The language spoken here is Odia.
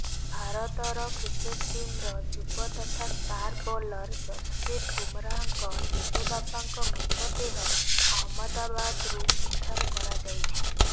ଭାରତର କ୍ରିକେଟ ଟିମର ଯୁବ ତଥା ଷ୍ଟାର ବୋଲର ଯଶପ୍ରୀତ ବୁମରାହଙ୍କ ଜେଜେବାପାଙ୍କ ମୃତଦେହ ଅହମ୍ମଦାବାଦରୁ ଉଦ୍ଧାର କରାଯାଇଛି